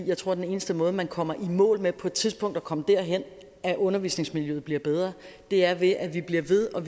jeg tror at den eneste måde man kommer i mål med på et tidspunkt at komme derhen at undervisningsmiljøet bliver bedre er ved at vi bliver ved og